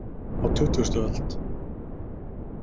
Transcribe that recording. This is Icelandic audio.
Á tuttugustu öld.